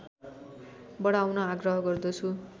बढाउन आग्रह गर्दछु